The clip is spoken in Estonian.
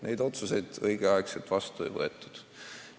Neid otsuseid õigel ajal vastu ei võetud.